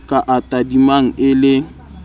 ka a tadimang e le